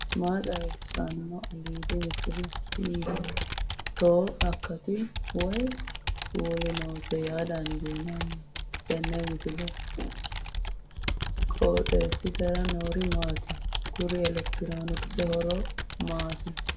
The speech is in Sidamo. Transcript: maa xawissanno aliidi misile ? hiitto akati woy kuuli noose yaa dandiinanni tenne misilera? qooxeessisera noori maati ? kuri elekitiroonikkise horo maati